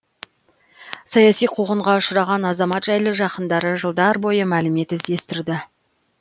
саяси қуғынға ұшыраған азамат жайлы жақындары жылдар бойы мәлімет іздестірді